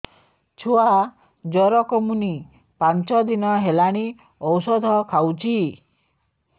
ଛୁଆ ଜର କମୁନି ପାଞ୍ଚ ଦିନ ହେଲାଣି ଔଷଧ ଖାଉଛି